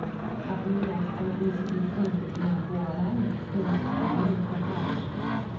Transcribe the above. обменять английские фунты на гуарани стоимость обмена какая